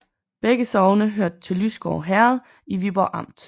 Begge sogne hørte til Lysgård Herred i Viborg Amt